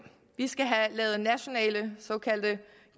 vi skal have lavet nationale såkaldte